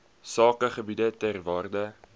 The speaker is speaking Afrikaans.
sakegebiede ter waarde